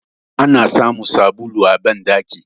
Ana samun sabulu a bandaki